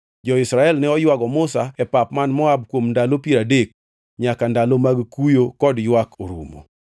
Jo-Israel ne oywago Musa e pap man Moab kuom ndalo piero adek nyaka ndalo mag kuyo kod ywak orumo.